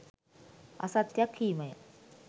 අසත්‍යයක් කීම ය.